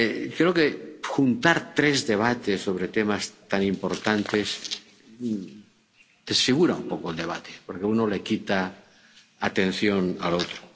Creo que juntar tres debates sobre temas tan importantes desfigura un poco el debate, porque uno le quita atención al otro.